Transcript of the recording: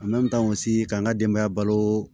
sigi ka n ka denbaya balo